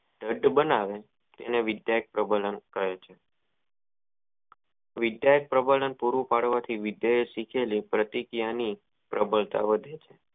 દ્ઢ બનાવે આને વિદ્યાક પ્રબંન કહે છે વિધક પ્રબંન પૂરું પડવાથી વીંધ્યો શીખેલી પ્રતિ ક્રિયા ની પ્રબળતા વધી